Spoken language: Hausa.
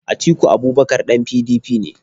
Atiku Abubakar ɗan PDP ne.